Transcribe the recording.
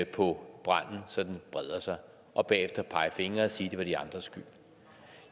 på branden så den breder sig og bagefter pege fingre og sige det var de andres skyld